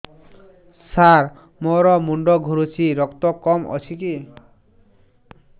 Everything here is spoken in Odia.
ସାର ମୋର ମୁଣ୍ଡ ଘୁରୁଛି ରକ୍ତ କମ ଅଛି କି